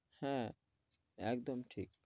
হ্যাঁ একদম ঠিক।